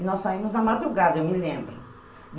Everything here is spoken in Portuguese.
E nós saímos na madrugada, eu me lembro.